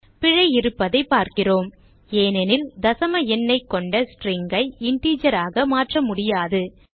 பிழை இருப்பதை பார்க்கிறோம்ஏனெனில் தசம எண்ணைக் கொண்ட string ஐ integer ஆக மாற்ற முடியாது